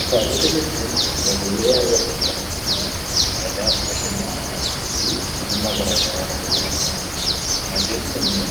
Kitaabota jechuun barruulee waayee seenaa fayidaa bashannanaa fi fayida garaagaraa irraa argannudha. Matseetiin immoo